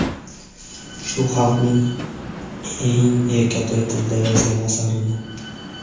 shu xalqning eng erkatoy tilida yozgan asarini.